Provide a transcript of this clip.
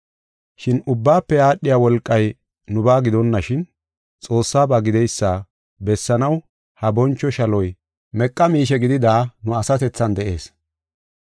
Shin ubbaafe aadhiya wolqay nubaa gidonashin, Xoossaba gideysa bessanaw ha boncho shaloy meqa miishe gidida nu asatethan de7ees.